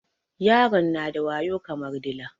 Yaron na da wayo kamar dila